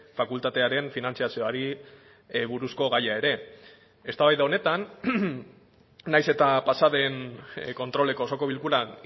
fakultatearen finantzazioari buruzko gaia ere eztabaida honetan naiz eta pasaden kontroleko osoko bilkuran